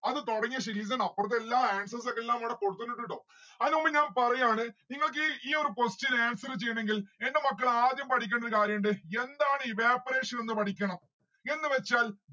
അത് തൊടങ്ങ്യ ഇവിടെ എല്ലാ answers ഉ ഒക്കെ എല്ലാം ഇവിടെ കൊടുത്തിട്ടിണ്ടു ട്ടോ. അയിന് മുൻപ് ഞാൻ പറയാണ് നിങ്ങൾക്ക് ഈ ഈയൊരു question ന് answer ചെയ്യണെങ്കിൽ എന്റെ മക്കള് ആദ്യം പഠിക്കണ്ടേ ഒരു കാരിയുണ്ട്. എന്താണ് evaporation എന്ന് പഠിക്കണം. എന്ന് വെച്ചാൽ